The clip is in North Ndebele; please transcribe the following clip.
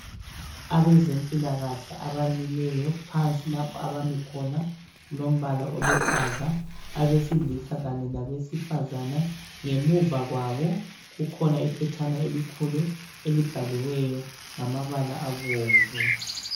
Abezempilakahle abamileyo. Phansi lapho abami khona. Kulombala oluhlaza .Abesilisa kanye labesifazana .Ngemuva kwabo kukhona iphetshana elikhulu elibhaliweyo ngamabala abomvu .